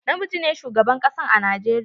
Na miji ne shugaban kasan a Najeriya.